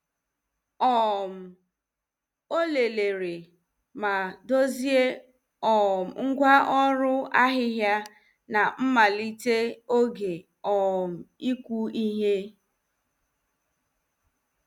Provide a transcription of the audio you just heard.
um O lelere ma dozie um ngwa ọrụ ahịhịa na mmalite oge um iku ihe.